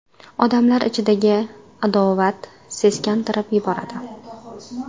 Odamlar ichidagi adovat seskantirib yuboradi.